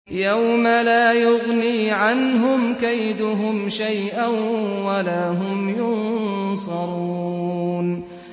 يَوْمَ لَا يُغْنِي عَنْهُمْ كَيْدُهُمْ شَيْئًا وَلَا هُمْ يُنصَرُونَ